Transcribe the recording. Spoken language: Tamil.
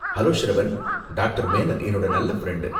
ஹலோ, ஷ்ரவன்! டாக்டர் மேனன் என்னோட நல்ல ஃப்ரெண்டு.